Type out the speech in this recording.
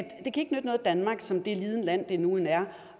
danmark som det lille land det nu engang